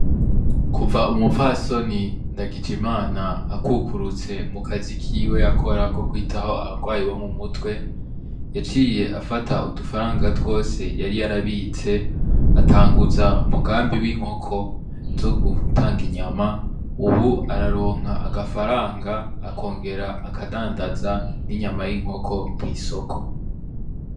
Kuva umupfasoni NDAGIJIMANA akukurutse mu kazi kiwe yakora ko kwitaho abagwayi bo mu mutwe yaciye afata udufaranga twose yari yarabitse atanguza umugambi w'inkoko zo gutanga inyama ubu araronka agafaranga akongera akadandaza ninyama yinkoko kwisoko.